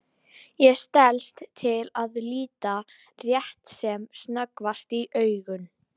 Ég stelst til að líta rétt sem snöggvast í augun.